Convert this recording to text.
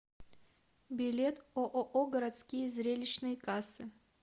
билет ооо городские зрелищные кассы